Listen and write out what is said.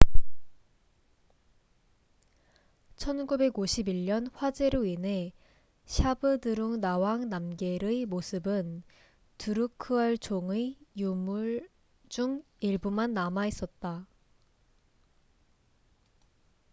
1951년 화재로 인해 샤브드룽 나왕 남겔zhabdrung ngawang namgyal의 모습은 드루크얄 종drukgyal dzon의 유물 중 일부만 남아 있었다